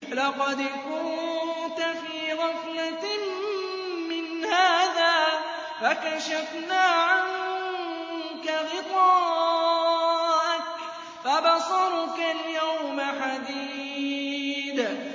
لَّقَدْ كُنتَ فِي غَفْلَةٍ مِّنْ هَٰذَا فَكَشَفْنَا عَنكَ غِطَاءَكَ فَبَصَرُكَ الْيَوْمَ حَدِيدٌ